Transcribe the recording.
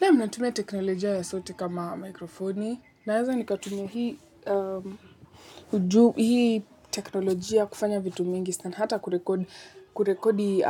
Naam, natumia teknolojia ya sauti kama mikrofoni, naweza nikatumia hii uju, hii teknolojia kufanya vitu mingi, sana hata kurekodi